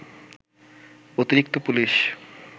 অতিরিক্ত পুলিশ